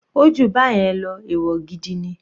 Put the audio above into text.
Ó jù báyẹn lọ, ẹ̀wọ̀ gidi ni.